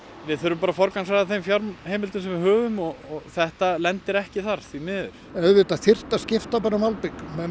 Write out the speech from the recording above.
við þurfum bara að forgangsraða þeim fjárheimildum sem við höfum og þetta lendir ekki þar því miður auðvitað þyrfti að skipta um malbik menn